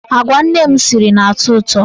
Agwa nne m siri na-atọ ụtọ.